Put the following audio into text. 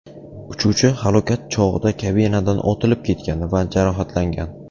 Uchuvchi halokat chog‘i kabinadan otilib ketgan va jarohatlangan.